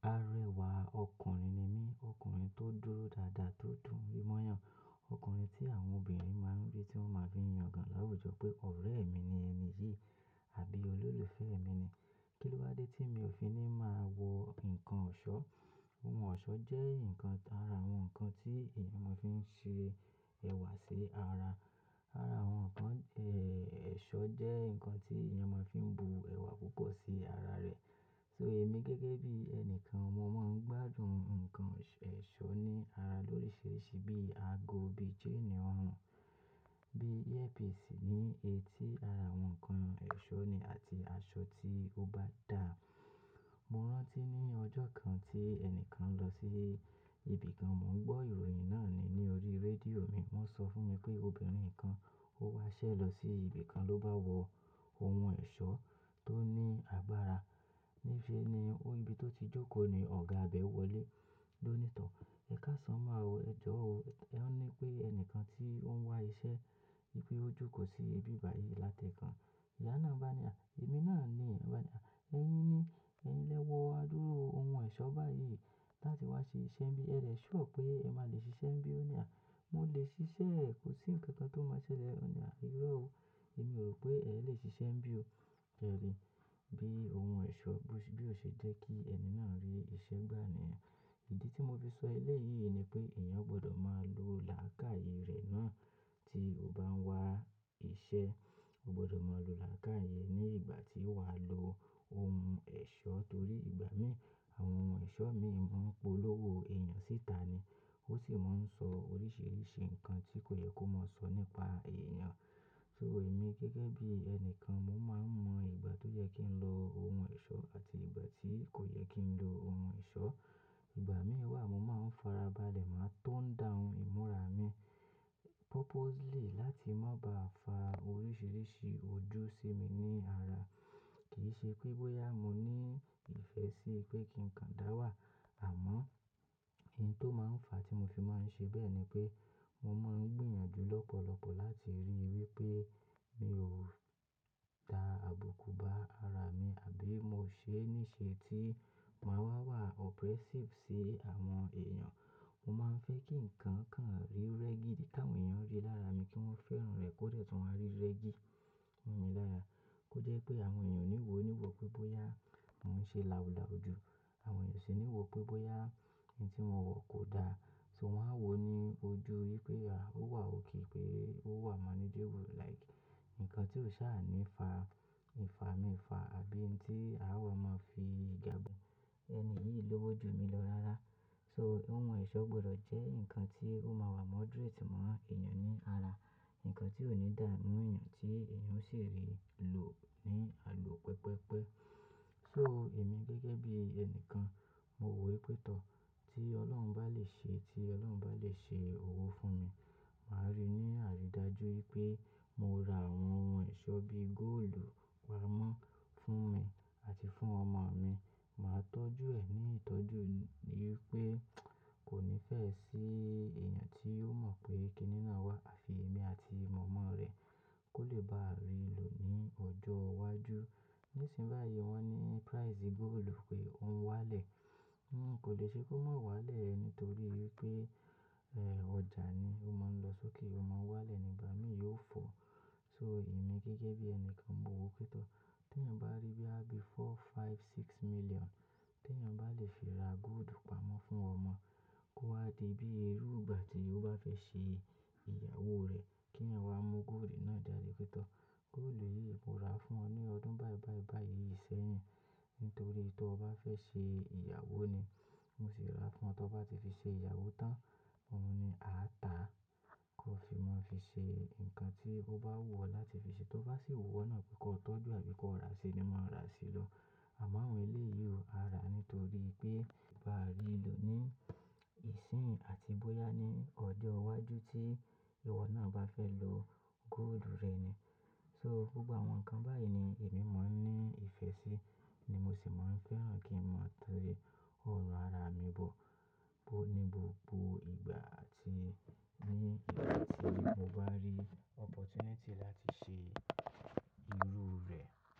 Arẹwà ọkùnrin ni mí, ọkùnrin tó dúró dáadáa, tó dùn ri moyan Ọkùnrin tí àwọn obìnrin máa ń bí, tí wọ́n máa fi yangàn láwùjọ pé ọ̀rẹ́ mi ni ẹni yìí àbí olólùfẹ́ mi ni. Kí ló wa dé tí mi ò fi ní máa wọ nǹkan ọ̀ṣọ́? Ohun ọ̀ṣọ́ jẹ́ ǹkan ara àwọn ǹkan tí èèyàn máa fi ń ṣe ẹ̀wà sí ara. Ara àwọn ǹkan, ẹ̀, ẹ̀ṣọ́ jẹ́ ǹkan tí èèyàn máa fi ń bu ẹ̀wà púpọ̀ sí ara rẹ̀. So èmi gẹ́gẹ́ bí ẹnìkan, mo máa ń gbádùn ǹkan ẹ̀ṣọ́ ní ara lóríṣiríṣi bí ago, bí chain orún, bí earpiece ní etí ara àwọn ǹkan ẹ̀ṣọ́ ni àti aṣọ tí ó bá da. Mo rántí ní ọjọ́ kan tí ẹnìkan lọ sí ibìkan, mò ń gbọ́ ìròyìn náà ni ní orí rédíò mi. Wọ́n sọ fún mi pé obìnrin kan ó wá ṣẹ̀ lọ sí ibìkan ló bá wọ ohun ẹ̀ṣọ́ tó ní agbára. Ní ìfin ni ó ibi tó ti jókòó ni ọ̀gá abẹ́ wọlé ló ní tọ̀, "Ẹ káṣán máa wọ, ẹ jọ̀ wò." Ọ ní pé ẹnìkan tí ó ń wá iṣẹ́, pé ó jókòó sí ibi báyìí láti ẹ̀ẹ̀kan. Ìye náà bá a ní à, "Èmi náà ni." Ọ bá a ní à, "Ẹ̀yin ni, ẹ̀yin lẹ́wọ́ á dúró ohun ẹ̀ṣọ́ báyìí láti wá ṣe iṣẹ́ bí, ẹ dẹ̀ sure pé ẹ máa lè ṣiṣẹ́." Ẹ bí ó ní à, "Mo lè ṣiṣẹ́, kò sí ǹkan kan tó máa ṣẹlẹ̀." Ọ ní à, "Irọ́ o, èmi rò pé ẹ lè ṣiṣẹ́ ń bí o." Ẹ rí bí ohun ẹ̀ṣọ́ bí, bí ó ṣe jẹ́ kí ẹni náà rí iṣẹ́ gbà ni ẹ̀. Ìdí tí mo fi sọ ẹlẹ́yìí ni pé èèyàn gbọdọ̀ máa lo làákàyè rẹ̀ náà tí ó bá ń wá iṣẹ́. O gbọdọ̀ máa lo làákàyè ní ìgbà tí wàá lo ohun ẹ̀ṣọ́ torí ìgbà mí ì, àwọn ohun ẹ̀ṣọ́ míì máa ń polówó èèyàn síta ni. Ó sì máa ń sọ oríṣiríṣi ǹkan tí kò yẹ kó máa sọ nípa èèyàn. So èmi gẹ́gẹ́ bí ẹnìkan, mo máa ń mọ ìgbà tó yẹ kí n lo ohun ẹ̀ṣọ́ àti ìgbà tí kò yẹ kí n lo ohun ẹ̀ṣọ́. Ìgbà mí ì wà, mo máa ń farabalẹ̀ máa tone down ìmúra mi purposely láti má ba fa oríṣiríṣi ojú sí mi ní ara. Kì í ṣe pé bóyá mo ní ìfẹ́ sí pé kí ǹkan dáwà, àmọ́ ìyẹn tó máa ń fa tí mo fi máa ń ṣe bẹ́ẹ̀ ni pé mo máa ń gbìyànjú lọ́pọ̀lọpọ̀ láti rí wí pé mi ò dá àbùkù bá ara mi àbí mo ṣe ní ṣe tí máa wà oppressive sí àwọn èèyàn. Mo máa ń fẹ́ kí ǹkan kan rí reggae tí àwọn èèyàn rí lára mi kí wọ́n fẹ́ràn rẹ̀ kó dẹ́ tí wọ́n á rí reggae nínú mi lára. Kó jẹ́ pé àwọn èèyàn ò ní wò níwò pé bóyá mò ń ṣe làulàù ojú. Àwọn èèyàn sì níwò pé bóyá ìyẹn tí mo wọ̀ kò da. So wọ́n á wò ó ní ojú wí pé a, ó wà òkè pé ó wà manageable like ǹkan tí ó sá à ní fa ìfami ìfa àbí ǹkan tí a máa fi gàbù ẹni yìí lówó ju mi lọ rárá. So ohun ẹ̀ṣọ́ gbọdọ̀ jẹ́ ǹkan tí ó máa wà moderate mọ́ èèyàn ní ara. Ǹkan tí ò ní dà mú èèyàn tí èèyàn sì rí lò ní àlò pẹpẹ́pẹ́. So èmi gẹ́gẹ́ bí ẹnìkan, mo wò ó pé tọ́, tí Ọlọ́run bá lè ṣe, tí Ọlọ́run bá lè ṣe owó fún mi, màá rí ní àrídájú wí pé mo ra àwọn ohun ẹ̀ṣọ́ bí gold pamọ́ fún mi àti fún ọmọ mi. Màá tọ́jú ẹ̀ ní ìtọ́jú wí pé kò ní fẹ́ sí èèyàn tí yóò mọ̀ pé kìnìún náà wà, àfi èmi àti mọ̀mọ́ rẹ̀ kó lè bá rí lò ní ọjọ́ iwájú. Léṣin báyìí wọ́n ní price gold pé ó ń wálẹ̀. Nǹkan kò le ṣe kó máa wálẹ̀ nítorí pé, ẹ́, ọjà ni ó máa ń lọ sókè, ó máa ń wálẹ̀ nígbà méèyì ó fọ. So èmi gẹ́gẹ́ bí ẹnìkan, mo wò ó pé tọ́, tí èèyàn bá rí bí a bi four, five, six million, tí èèyàn bá lè fi ra gold pamọ́ fún ọmọ kó wá di bí erù ìgbà tí ó bá fẹ́ ṣe ìyàwó rẹ̀ kí èèyàn wá mú gold náà dálé pé tọ́. Gold yìí mo rà á fún ọ ní ọdún báì báì bá yìí sẹ́yìn nítorí tó bá fẹ́ ṣe ìyàwó ni. Mo sì rà á fún ọ, tó bá ti fi ṣe ìyàwó tán, ó ní àá tà á kó fi mọ́ fi ṣe ǹkan tí ó bá wù ọ́ láti fi ṣe. Tó bá sì wù ọ́ náà pé kó tọ́jú àbí kó ra ṣe ni màá ra ṣe lọ. Àmọ́ àwọn ilé yìí ò hárà nítorí pé bá rí lò ní ìsín àti bóyá ní ọdẹ iwájú tí ìwọ náà bá fẹ́ lo gold rẹ ni. So gbogbo àwọn ǹkan báyìí ni èmi máa ń ní ìfẹ́ sí ni mo sì máa ń fẹ́ràn kí ń mọ tó rí ọ̀run ara mi bọ̀ bó ní gbogbo ìgbà àti nígbà tí mo bá rí opportunity láti ṣe irú rẹ̀.